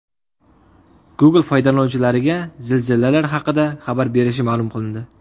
Google foydalanuvchilarga zilzilalar haqida xabar berishi ma’lum qilindi.